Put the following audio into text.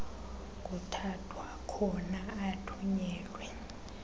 kuthathwa khona athunyelwe